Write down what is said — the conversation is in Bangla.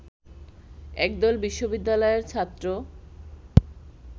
একদল বিশ্ববিদ্যালয়ের ছাত্র